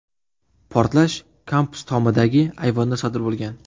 Portlash kampus tomidagi ayvonda sodir bo‘lgan.